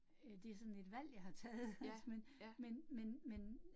Øh det sådan et valg, jeg har taget, altså men men men men